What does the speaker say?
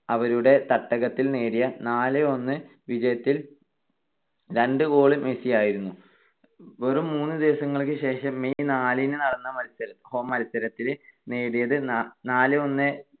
അവരുടെ തട്ടകത്തിൽ നേടിയ നാല് - ഒന്ന് വിജയത്തിൽ രണ്ട് goal മെസ്സിയായിരുന്നു. വെറും മൂന്ന് ദിവസങ്ങൾക്ക് ശേഷം, May നാലിന് നടന്ന മത്സരത്തിൽ നേടിയത് നാല് - ഒന്ന്